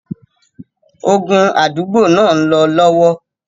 Ogun àdúgbò náà ń lọ lọ́wọ́.